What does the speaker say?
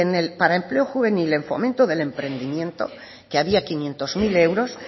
para empleo juvenil en fomento del emprendimiento que había quinientos mil euros